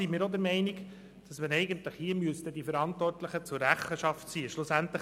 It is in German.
Wir sind der Meinung, dass man hier die Verantwortlichen zur Rechenschaft ziehen soll.